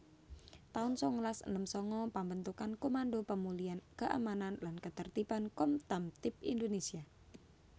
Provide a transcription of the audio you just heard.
taun sangalas enem sanga Pambentukan Komando Pemulihan Keamanan lan Katertiban Kopkamtib Indonésia